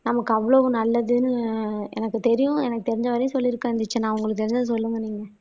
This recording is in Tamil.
நமக்கு அவ்வளவு நல்லதுன்னு எனக்கு தெரியும் எனக்கு தெரிஞ்ச வரையும் சொல்லிருக்கேன் தீக்ஷனா. உங்களுக்கு தெரிஞ்சத சொல்லுங்க நீங்க